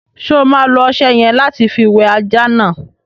Ṣo ma lo ọṣẹ yẹ̀n lati fi wẹ ajá náà?